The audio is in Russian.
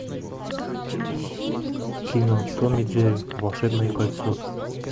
кино том и джерри волшебное кольцо